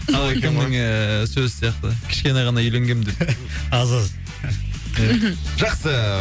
ііі сөз сияқты кішкене ғана үйленгем деп аз аз мхм жақсы